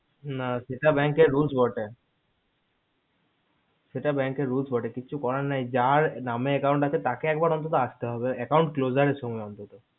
না সেটা bank এর rules না সেটা bank এর rules বটে কিছু করার নেই যার নামে account আসে তাকে একবার অন্তত আস্তে হবে close আলোচনা করতে হবে